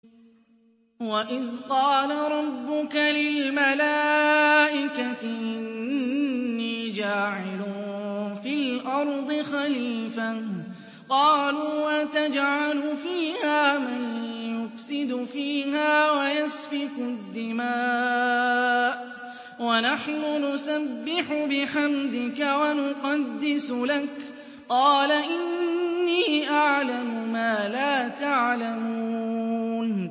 وَإِذْ قَالَ رَبُّكَ لِلْمَلَائِكَةِ إِنِّي جَاعِلٌ فِي الْأَرْضِ خَلِيفَةً ۖ قَالُوا أَتَجْعَلُ فِيهَا مَن يُفْسِدُ فِيهَا وَيَسْفِكُ الدِّمَاءَ وَنَحْنُ نُسَبِّحُ بِحَمْدِكَ وَنُقَدِّسُ لَكَ ۖ قَالَ إِنِّي أَعْلَمُ مَا لَا تَعْلَمُونَ